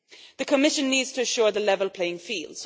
The Commission needs to ensure a level playing field.